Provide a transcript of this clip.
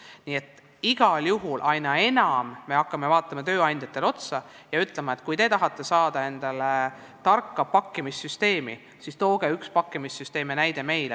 Nii et igal juhul me hakkame aina enam vaatama tööandjate poole ja ütleme, et kui te tahate saada endale tarka pakkimissüsteemi, siis tooge meile üks pakkimissüsteemi näidis.